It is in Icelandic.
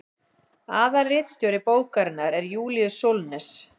aðalritstjóri bókarinnar er júlíus sólnes